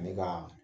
Ani ka